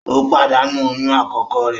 O padanu oyún akọkọ re